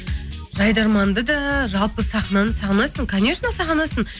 жайдарманды да жалпы сахнаны сағынасың конечно сағынасың